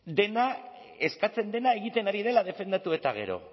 dena eskatzen dena egiten ari dela defendatu eta gero